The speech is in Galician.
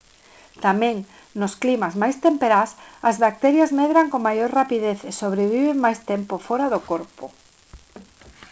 tamén nos climas máis temperás as bacterias medran con maior rapidez e sobreviven máis tempo fóra do corpo